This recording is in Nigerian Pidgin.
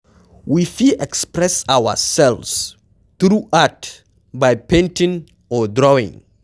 We fit express ourselves through art by painting or drawing